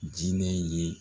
Jinɛ in ye